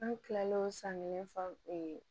An kilalen san kelen fan